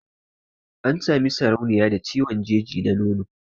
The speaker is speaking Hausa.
An Sami sarauniya da ciwon jeji na nono